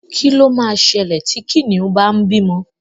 Kí ló ma ṣẹlẹ̀ tí Kìnìún bá ń bímọ?